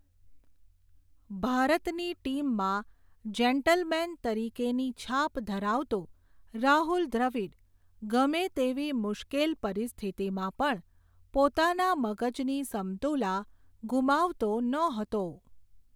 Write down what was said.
ભારતની ટીમમાં જેન્ટલમેન તરીકેની છાપ ધરાવતો રાહુલ દ્રવિડ ગમે તેવી મુશ્કેલ પરિસ્થિતિમાં પણ, પોતાના મગજની સમતુલા ગુમાવતો નહોતો.